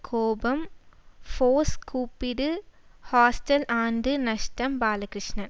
கோபம் ஃபோர்ஸ் கூப்பிடு ஹாஸ்டல் ஆண்டு நஷ்டம் பாலகிருஷ்ணன்